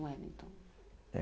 O Wellington. É.